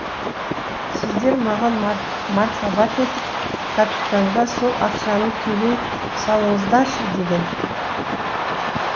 сіздер маған мархабат етіп капитанға сол ақшаны төлей салыңыздаршы деген